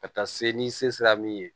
Ka taa se ni se sera min ye